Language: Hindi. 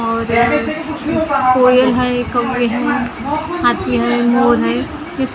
और कोयल है कौवे हैं हाथी है मोर है किस--